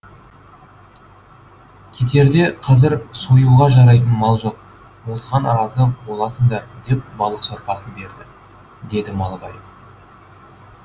кетерде қазір союға жарайтын мал жоқ осыған разы боласыңдар деп балық сорпасын берді деді малыбай